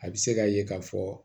A bɛ se k'a ye k'a fɔ